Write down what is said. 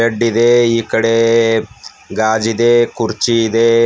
Bed ಇದೆ ಈ ಕಡೆ ಗಾಜಿದೆ ಕುರ್ಚಿ ಇದೆ.